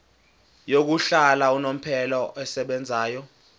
yokuhlala unomphela esebenzayo